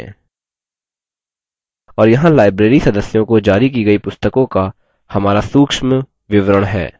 और यहाँ library सदस्यों को जारी की गयी पुस्तकों का हमारा सूक्ष्म विवरण है